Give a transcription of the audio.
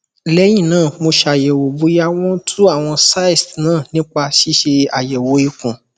lẹyìn náà mo ṣàyẹwò bóyá wọn tú àwọn cysts nípa ṣíṣe àyẹwò ikùn